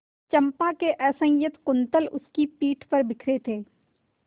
चंपा के असंयत कुंतल उसकी पीठ पर बिखरे थे